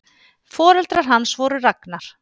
Foreldrar hans voru Ragnar